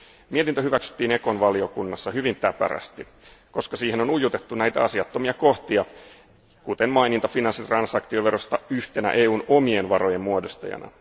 Mietintö hyväksyttiin ECON valiokunnassa hyvin täpärästi, koska siihen on ujutettu näitä asiattomia kohtia, kuten maininta finanssitransaktioverosta yhtenä EUn omien varojen muodostajana.